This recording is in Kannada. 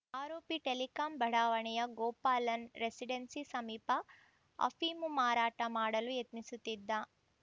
ಆರೋಪಿ ಟೆಲಿಕಾಂ ಬಡಾವಣೆಯ ಗೋಪಾಲನ್‌ ರೆಸಿಡೆನ್ಸಿ ಸಮೀಪ ಅಫೀಮು ಮಾರಾಟ ಮಾಡಲು ಯತ್ನಿಸುತ್ತಿದ್ದ